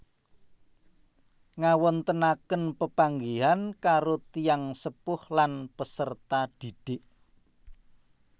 Ngawontenaken pepanggihan karo tiyang sepuh lan peserta didik